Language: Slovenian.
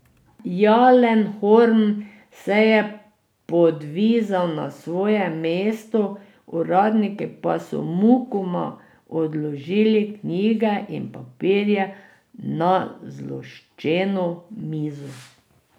Jalenhorm se je podvizal na svoje mesto, uradniki pa so mukoma odložili knjige in papirje na zloščeno mizo.